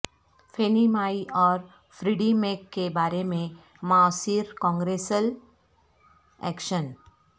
فینی Mae اور Freddie Mac کے بارے میں معاصر کانگریسل ایکشن